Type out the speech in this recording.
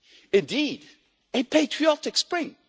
Indeed, a patriotic spring!